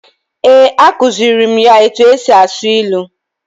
Eh, a kuziri mụ ya etu e si asụ ilu.